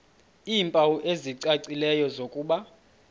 iimpawu ezicacileyo zokuba